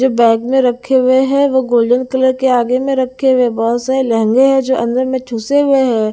जो बैग में रखे हुए है वो गोल्डन कलर के आगे में रखे हुए है बहुत सारे लहंगे है जो अंदर में ठुसे हुए हैं।